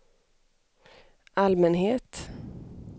allmänhet